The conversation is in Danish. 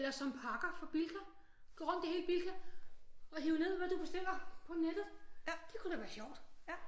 Eller som pakker for Bilka gå rundt i hele Bilka og hive ned hvad du bestiller på nettet det kunne da være sjovt